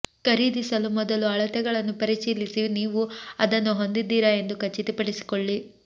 ಖರೀದಿಸಲು ಮೊದಲು ಅಳತೆಗಳನ್ನು ಪರಿಶೀಲಿಸಿ ನೀವು ಅದನ್ನು ಹೊಂದಿದ್ದೀರಾ ಎಂದು ಖಚಿತಪಡಿಸಿಕೊಳ್ಳಿ